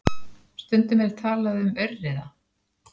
Stundum er talað um aurriða.